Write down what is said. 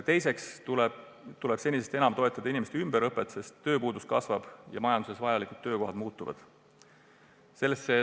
Teiseks tuleb senisest enam toetada inimeste ümberõpet, sest tööpuudus kasvab ja majanduse jaoks vajalikud töökohad muutuvad.